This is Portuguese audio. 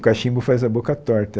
O cachimbo faz a boca torta.